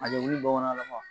A ni wili bamanan la ma.